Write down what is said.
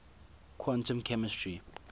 quantum chemistry